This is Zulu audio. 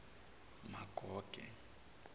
magoge